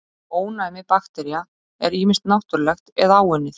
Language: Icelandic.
ónæmi baktería er ýmist náttúrlegt eða áunnið